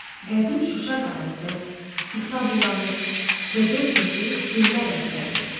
Qədim Şuşa qalası, İsa bulağı, Cıdır düzü dillər əzbəridir.